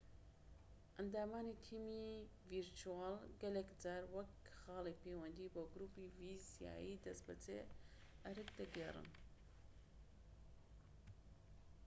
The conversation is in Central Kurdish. ئەندامانی تیمی ڤیرچوەڵ گەلێک جار وەک خاڵی پەیوەندی بۆ گروپی فیزیایی دەستبەجێ ئەرک دەگێڕن